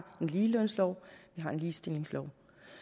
en ligelønslov vi har en ligestillingslov